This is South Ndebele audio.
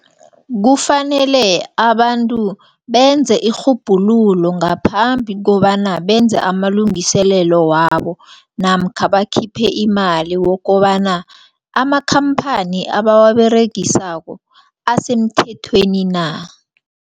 Kufanele abantu benze irhubhululo ngaphambi kobana benze amalungiselelo wabo namkha bakhiphe imali wokobana amakhamphani abawaberegisako asemthethweni na.